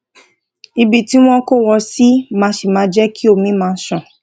ibi tí wón kó wọn sí máa sí máa jé kí omi má ṣàn